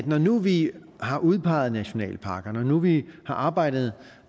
når nu vi har udpeget nationalparkerne og når nu vi har arbejdet